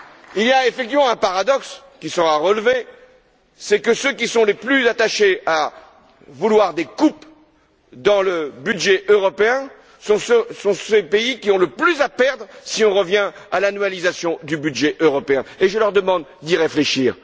Il y a effectivement un paradoxe, qui sera relevé c'est que ceux qui sont les plus attachés à vouloir des coupes dans le budget européen sont les pays qui ont le plus à perdre si on revient à l'annualisation de ce budget, et je leur demande d'y réfléchir.